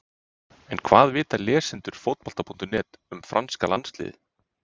En hvað vita lesendur Fótbolta.net um franska landsliðið?